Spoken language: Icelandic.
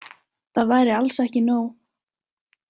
Það væri alls ekki nóg.